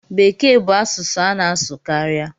Bekee bu asụsụ a na asụ karịa.